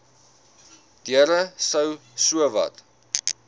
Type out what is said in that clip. deure sou sowat